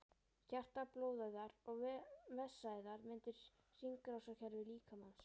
Hjarta, blóðæðar og vessaæðar mynda hringrásarkerfi líkamans.